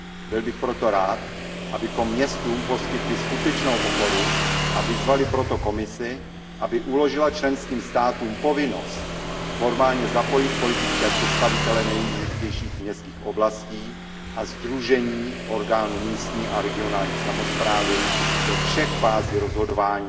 Byl bych proto rád, abychom městům poskytli skutečnou oporu a vyzvali proto Komisi, aby uložila členským státům povinnost formálně zapojit politické představitele nejdůležitějších měst a sdružení orgánů místní a regionální samosprávy do všech fází rozhodování